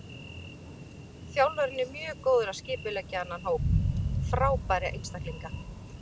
Þjálfarinn er mjög góður að skipuleggja þennan hóp frábærra einstaklinga.